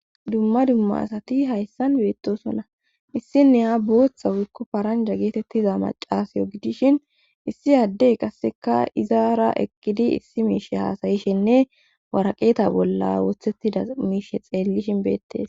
Dumma dumma asati hayssan beettosona issinne ha booththa wukko paranja geetettiza macaasayo gidishin issi addey qasseka izaara ekkidi issi miishe haasayishenne waraqeeta bolla woothettida miishe xeellishin beettes.